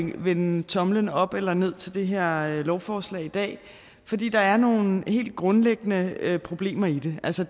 at vende tomlen op eller ned til det her lovforslag i dag fordi der er nogle helt grundlæggende problemer i det altså